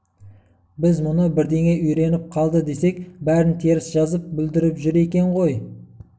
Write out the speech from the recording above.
біз мұны бірдеңе үйреніп қалды десек бәрін теріс жазып бүлдіріп жүр екен ғой